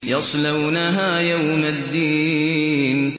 يَصْلَوْنَهَا يَوْمَ الدِّينِ